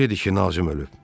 Kim dedi ki, Nazim ölüb?